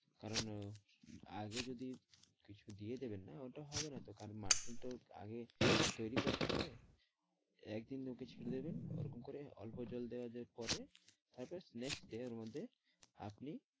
কারন আগে যদি কিছু দিয়ে দেবেন না ওটা হবেনাতো মাটি তো আগে তৈরী করতে হবে। একদিন ওকে ছেড়ে দিবেন ওরকম করে অল্প জল দেওয়ার পরে তারপর next day এর মধ্যে আপনি